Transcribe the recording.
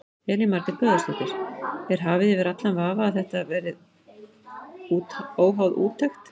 Elín Margrét Böðvarsdóttir: Er hafið yfir allan vafa að þetta verið óháð úttekt?